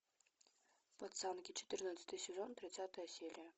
пацанки четырнадцатый сезон тридцатая серия